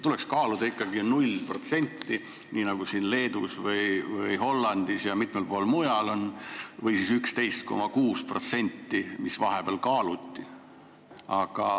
Tuleks ikkagi kehtestada nullmäär, nii nagu on Leedus, Hollandis ja mitmel pool mujal, või siis 11,6%, mida vahepeal kaaluti.